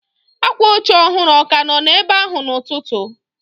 Akwa oche ọhụrụ ọ ka nọ ebe ahụ n'ụtụtụ?